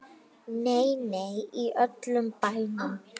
Nei, nei, í öllum bænum.